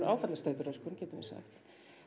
áfallastreituröskun getum við sagt